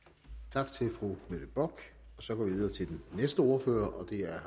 tak til fru mette bock så går vi videre til den næste ordfører og det er